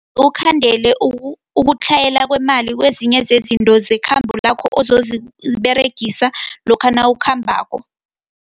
Ukhandele ukutlhayela kwemali, kezinye zezinto zekhabo lakho ozoziberegisa, lokha nawukhambako.